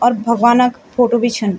और भगवानक फोटो भी छन।